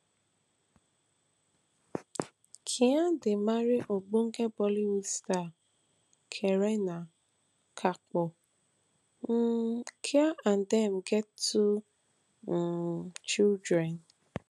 khan dey marry ogbonge bollywood star kareena kapoor um khan and and dem get two um children